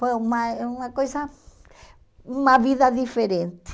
Foi uma uma coisa, uma vida diferente.